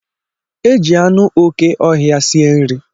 Eji anụ okè ọhịa sie nri.